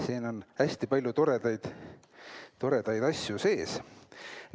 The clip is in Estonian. Siin on hästi palju toredaid asju sees.